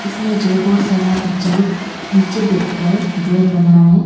इसमें जो बहुत सारा बच्चा लोग नीचे बैठकर ड्राइंग बना रहा है।